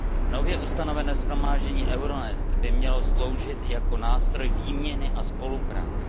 Nově ustanovené shromáždění Euronest by mělo sloužit jako nástroj výměny a spolupráce.